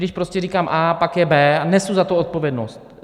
Když prostě říkám A, pak je B a nesu za to odpovědnost.